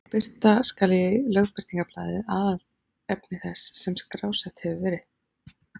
Birta skal í Lögbirtingablaði aðalefni þess sem skrásett hefur verið.